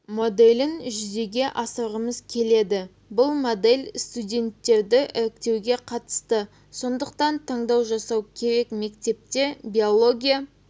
моделін жүзеге асырғымыз келеді бұл модель студенттерді іріктеуге қатысты сондықтан таңдау жасау керек мектепте биология